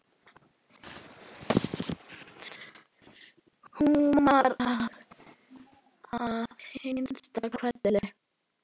Húmar að hinsta kveldi.